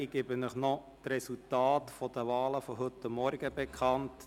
Ich gebe Ihnen noch die Resultate der Wahlen von heute Morgen bekannt.